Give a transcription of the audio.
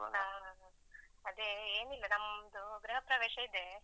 ಹಾ ಅದೇ ಏನಿಲ್ಲ ನಮ್ದು ಗೃಹ ಪ್ರವೇಶ ಇದೆ.